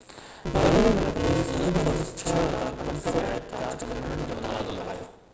Berlin ۾، police لڳ ڀڳ 6،500 احتجاج ڪندڙن جو اندازو لڳايو